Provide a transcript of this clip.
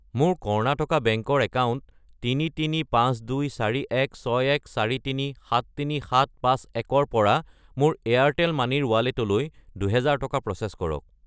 মোৰ কৰ্ণাটকা বেংক ৰ একাউণ্ট 335241614373751 ৰ পৰা মোৰ এয়াৰটেল মানি ৰ ৱালেটলৈ 2000 টকা প্ৰ'চেছ কৰক।